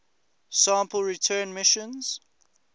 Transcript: sample return missions